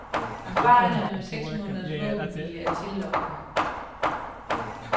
Erfaringerne med seks måneders våbenhvile er tillokkende.